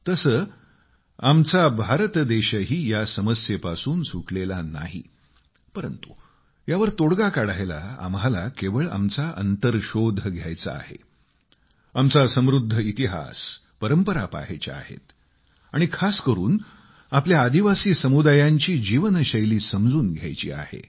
तसे आमचे भारतवर्षही या समस्येपासून सुटलेले नाही परंतु यावर तोडगा काढायला आम्हाला केवळ आमचा अंतर्शोध घ्यायचा आहे आमचा समृद्ध इतिहासपरंपरा पहायच्या आहेत आणि खास करून आपल्या आदिवासी समुदायांची जीवनशैली समजून घ्यायची आहे